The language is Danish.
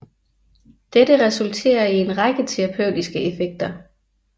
Dette resulterer i en række terapeutiske effekter